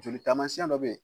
Joli taamasiyɛn dɔ bɛ yen